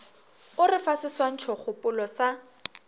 o re fa seswantšhokgopolo sa